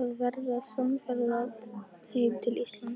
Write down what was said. að verða samferða heim til Íslands.